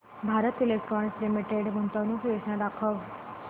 Bharat Electronics Limited गुंतवणूक योजना दाखव